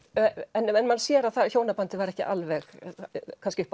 en maður sér að hjónabandið var ekki alveg kannski upp á